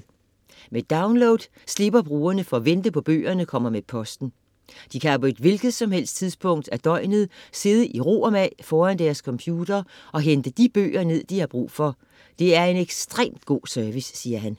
- Med download slipper brugerne for at vente på at bøgerne kommer med posten. De kan på et hvilket som helst tidspunkt af døgnet sidde i ro og mag foran deres computer og hente de bøger ned, de har brug for - det er en ekstremt god service, siger han.